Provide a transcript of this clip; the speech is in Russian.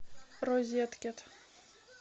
розеткед